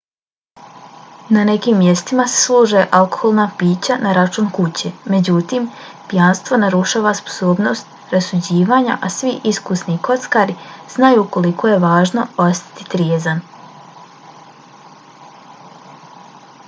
na nekim mjestima se služe alkoholna pića na račun kuće. međutim pijanstvo narušava sposobnost rasuđivanja a svi iskusni kockari znaju koliko je važno ostati trijezan